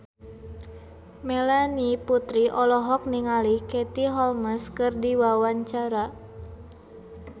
Melanie Putri olohok ningali Katie Holmes keur diwawancara